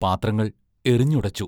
പാത്രങ്ങൾ എറിഞ്ഞുടച്ചു......